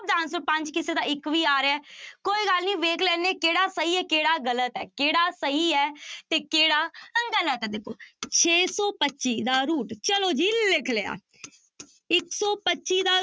ਦਾ answer ਪੰਜ ਕਿਸੇ ਦਾ ਇੱਕ ਵੀ ਆ ਰਿਹਾ ਹੈ ਕੋਈ ਗੱਲ ਨੀ ਵੇਖ ਲੈਂਦੇ ਹਾਂ ਕਿਹੜਾ ਸਹੀ ਹੈ ਕਿਹੜਾ ਗ਼ਲਤ ਹੈ, ਕਿਹੜਾ ਸਹੀ ਹੈ ਤੇ ਕਿਹੜਾ ਗ਼ਲਤ ਹੈ ਦੇਖੋ ਛੇ ਸੌ ਪੱਚੀ ਦਾ root ਚਲੋ ਜੀ ਲਿਖ ਲਿਆ ਇੱਕ ਸੌ ਪੱਚੀ ਦਾ